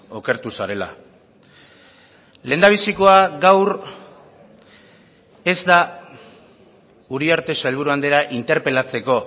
okertu zarela lehendabizikoa gaur ez da uriarte sailburu andrea interpelatzeko